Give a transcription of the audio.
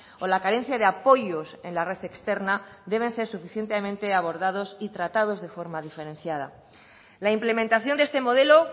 o la carencia de apoyos en la red externa deben ser suficientemente abordados y tratados de forma diferenciada la implementación de este modelo